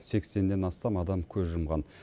сексеннен астам адам көз жұмған